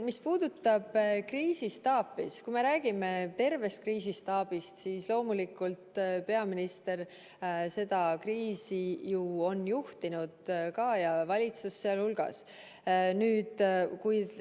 Mis puudutab kriisistaapi, siis kui me räägime tervest kriisistaabist, siis loomulikult on ju peaminister ja valitsus sealhulgas seda kriisi juhtinud.